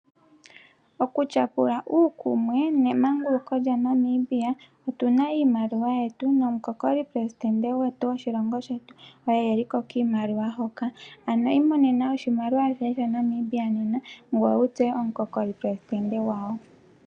Okutyapula uukumwe waNamibia . Otuna iimaliwa yetu nomukokoli omuleli goshilongo shetu okuli ko kiimaliwa hoka. Imonena shoye shaNamibia nena , ngoye wutseye omukokoli omukeli goshilongo gwawo.